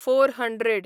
four hundred